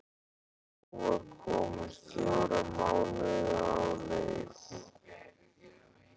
Hún var komin fjóra mánuði á leið.